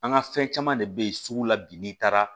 An ka fɛn caman de bɛ yen sugu la bi n'i taara